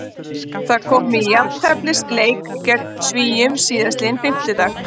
Það kom í jafnteflisleik gegn Svíum síðastliðinn fimmtudag.